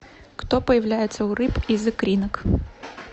кто появляется у рыб из икринок